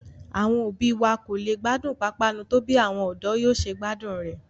Àwọn òbí wa kò lè gbádùn pápánu tó bí àwọn ọ̀dọ́ yóò ṣe gbádùn rẹ̀